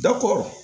Dakɔ